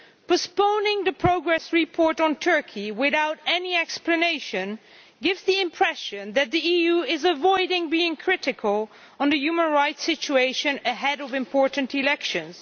Postponing the progress report on Turkey without any explanation gives the impression that the EU is avoiding being critical on the human rights situation ahead of important elections.